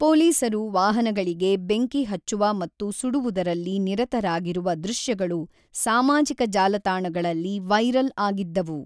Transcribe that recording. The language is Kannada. ಪೊಲೀಸರು ವಾಹನಗಳಿಗೆ ಬೆಂಕಿ ಹಚ್ಚುವ ಮತ್ತು ಸುಡುವುದರಲ್ಲಿ ನಿರತರಾಗಿರುವ ದೃಶ್ಯಗಳು ಸಾಮಾಜಿಕ ಜಾಲತಾಣಗಳಲ್ಲಿ ವೈರಲ್ ಆಗಿದ್ದವು.